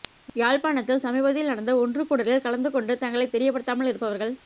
யாழ்ப்பாணத்தில் சமீபத்தில் நடந்த ஒன்றுகூடலில் கலந்து கொண்டு தங்களை தெரியப்படுத்தாமல் இருப்பவர்கள்